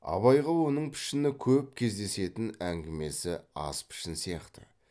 абайға оның пішіні көп кездесетін әңгімесі аз пішін сияқты